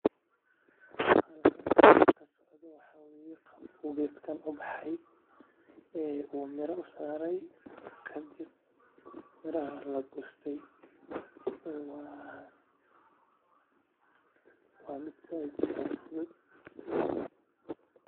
Geedkan ubaxay uu mira usaaray kadib lagooste waa mid sait iyo sait ufudud oo kabaxay meel fican.